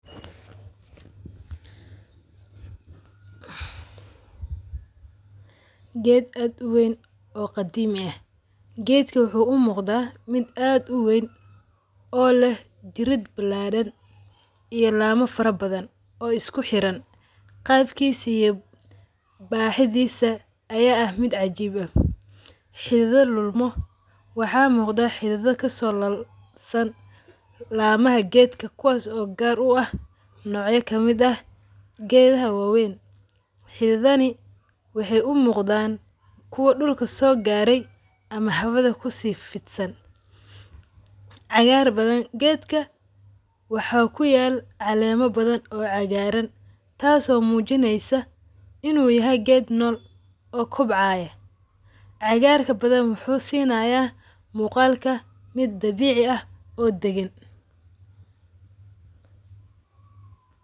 Geed aad uweyn oo qadimi eeh. Geedka wuxu u muqdaa mid aad uweyn oo leeh jiriid bilaaran iyo lama farabadhan oo iskuxiran qaabkisa iyo baa hidhisa aya aah mid cajiib aah xidhadho lulma waxa muqda xidhadho kasolabsan lamaha geedka kuwaso oo gaar u aah noocya kamid ah geedhah wa weyn. Xidhidhaha waxay u muqdaan kuwa dulka soo garay ama hawadha kusii fidsaan cagaar badhan. Geedka waxa kuyaal caleemo baadhan oo cagaran taas oo mujinaysa inu yahay geed nool oo kobcay. Cagaraka badhan wuxu sinaya mugalka miid dabici aah oo dagaan.